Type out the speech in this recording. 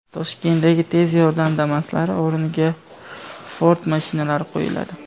Toshkentdagi tez yordam Damas’lari o‘rniga Ford mashinalari qo‘yiladi.